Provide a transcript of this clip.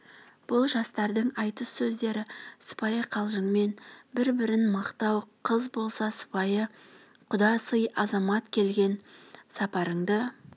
бұл жастардың айтыс сөздері сыпайы қалжыңмен бір-бірін мақтау қыз болса сыпайы құда сый азамат келген сапарыңды